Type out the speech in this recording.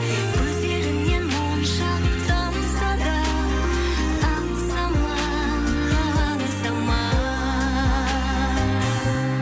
көздеріңнен моншақ тамса да аңсама аңсама